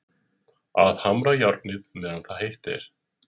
Að hamra járnið meðan heitt er